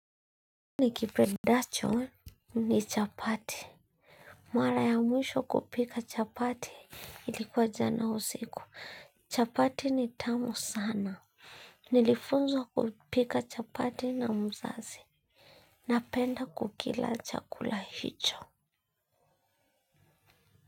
Nikipendacho ni chapati. Mara ya mwisho kupika chapati ilikuwa jana usiku. Chapati ni tamu sana. Nilifunzwa kupika chapati na mzazi. Napenda kukila chakula hicho.